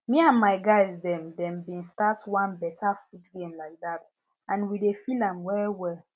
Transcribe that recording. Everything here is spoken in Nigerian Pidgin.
me and my guys dem dem been start one better food game like that and we dey feel am well well